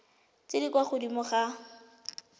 tse di kwa godimo ga